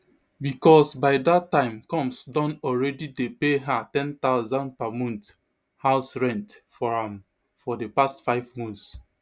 bicos by dat time combs don alreadi dey pay her ten thousand per month house rent for am for di past five months